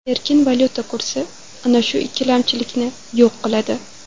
Erkin valyuta kursi ana shu ikkilamchilikni yo‘q qiladi.